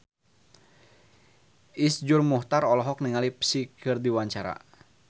Iszur Muchtar olohok ningali Psy keur diwawancara